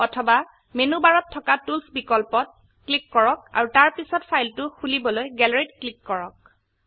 অথবা মেনু বাৰত থকা টুলছ বিকল্পত ক্লিক কৰক আৰু তাৰপিছত ফাইলটো খোলিবলৈ গেলাৰী ত ক্লিক কৰক